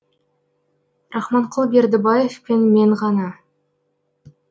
рахманқұл бердібаев пен мен ғана